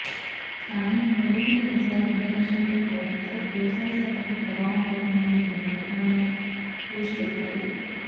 కాని వరుణుడు ఈసారి కనికరించక పోవడంతో వ్యవసాయశాఖపై ప్రభావం పడుతుందని అంటున్నారు ఆయన పేషి అధికారులు